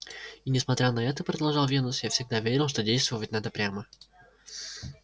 и несмотря на это продолжал венус я всегда верил что действовать надо прямо